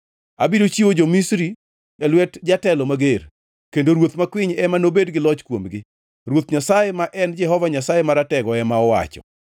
Abiro chiwo jo-Misri e lwet jatelo mager, kendo ruoth makwiny ema nobed gi loch kuomgi.” Ruoth Nyasaye ma en Jehova Nyasaye Maratego ema owacho.